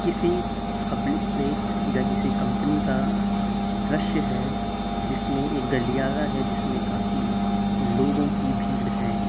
किसी public place या किसी कंपनी का दृश्य है जिसमें एक गलियारा है जिसमें काफी लोगों की भीड़ है।